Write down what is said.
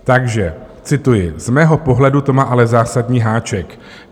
Takže cituji: "Z mého pohledu to má ale zásadní háček.